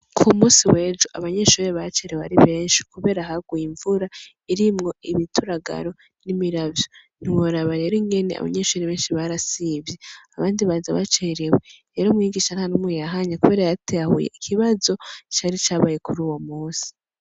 Ku munsi wejo abanyeshure bacerewe ari benshi kuberako haguye imvura irimwo imituragaro nimiravyo ntiworaba abanyeshure benshi barasivye abandi baza bacerewe rero mwigisha ntanumwe yahanye kubera yaratahuye ikibazo cari cabaye kuruwo munsi.